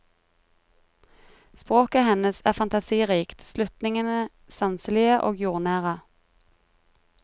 Språket hennes er fantasirikt, slutningene sanselige og jordnære.